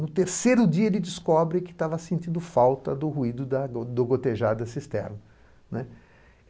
No terceiro dia, ele descobre que estava sentindo falta do ruído da do gotejar da cisterna, né.